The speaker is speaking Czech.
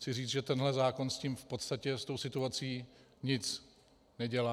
Chci říci, že tenhle zákon s tím v podstatě, s tou situací, nic nedělá.